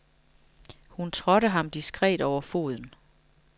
Hun trådte ham diskret over foden.